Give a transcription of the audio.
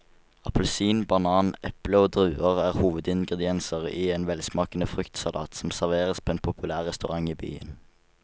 Appelsin, banan, eple og druer er hovedingredienser i en velsmakende fruktsalat som serveres på en populær restaurant i byen.